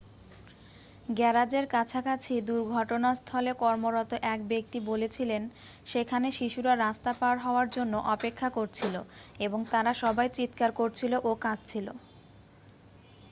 "গ্যারাজের কাছাকাছি দুর্ঘটনাস্থলে কর্মরত এক ব্যক্তি বলেছিলেন: "সেখানে শিশুরা রাস্তা পার হওয়ার জন্য অপেক্ষা করছিল এবং তারা সবাই চিৎকার করছিল ও কাঁদছিল।"